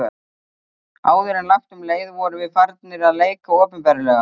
Áður en langt um leið vorum við farnir að leika opinberlega.